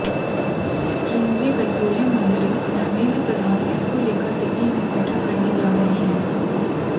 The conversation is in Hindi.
केंद्रीय पेट्रोलियम मंत्री धर्मेंद्र प्रधान इसको लेकर दिल्ली में बैठक करने जा रहे हैं